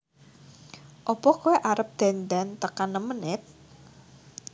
Opo koe arep dandan tekan nem menit